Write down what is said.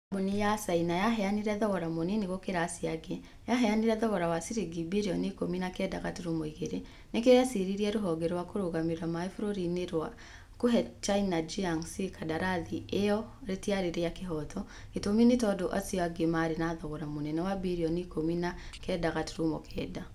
kambuni ya caina yaheanire thogora mũnini gukira acio angĩ . Yaheanire thogora wa ciringi birioni ikũmi na kenda gaturumo igĩrĩ. Nĩkio yeciririe rũhonge rwa kũrũgamĩrĩra maĩ bũrũri-inĩ rĩa kũhe China Jiangxi kandarathi ĩyo rĩtiarĩ rĩa kĩhooto. Gitumi nĩ tondũ acio angĩ marĩ na thogora mũnene wa birioni ikũmi na kenda gaturumo kenda.